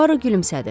Puaro gülümsədi.